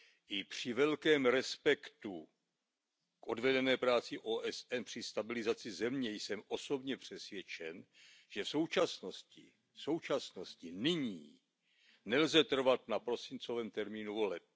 I při velkém respektu k odvedené práci OSN při stabilizaci země jsem osobně přesvědčen, že v současnosti, nyní, nelze trvat na prosincovém termínu voleb.